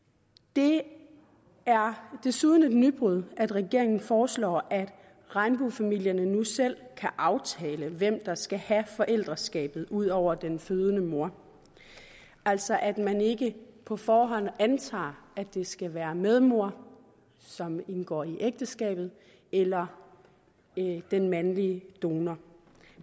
det er desuden et nybrud at regeringen foreslår at regnbuefamilierne nu selv kan aftale hvem der skal have forældreskabet ud over den fødende mor altså at man ikke på forhånd antager at det skal være medmor som indgår i ægteskabet eller den mandlige donor